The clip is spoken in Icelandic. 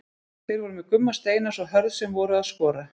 Þeir voru með Gumma Steinars og Hörð sem voru að skora.